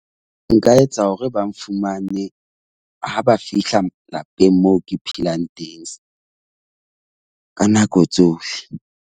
Nka etsa hore ba nfumane ha ba fihla lapeng moo ke phelang teng ka nako tsohle.